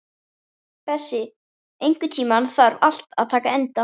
Bessi, einhvern tímann þarf allt að taka enda.